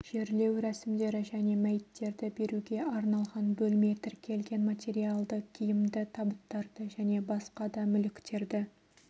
жерлеу рәсімдері және мәйіттерді беруге арналған бөлме тіркелген материалды киімді табыттарды және басқа да мүліктерді